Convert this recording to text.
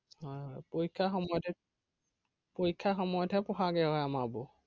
হয় হয় পৰীক্ষাৰ সময়তহে পৰীক্ষাৰ সময়ত হে পঢ়াগে হয় আমাৰবোৰ।